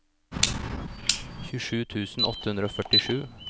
tjuesju tusen åtte hundre og førtisju